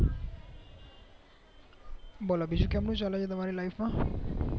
બોલો બીજું કેમનું ચાલે છે તમારી life માં